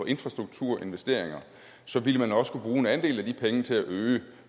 infrastrukturinvesteringer så vil man også kunne bruge en andel af de penge til at øge